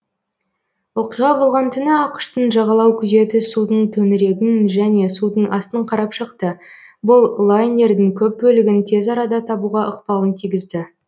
оқиға болған түні ақш тың жағалау күзеті судың төңірегін және судың астын қарап шықты бұл лайнердің көп бөлігін тез арада табуға ықпалын тигізді